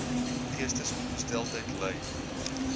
geestesongesteldheid ly